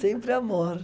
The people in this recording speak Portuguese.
Sempre amor.